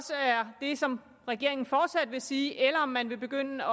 det som regeringen fortsat vil sige eller om man vil begynde at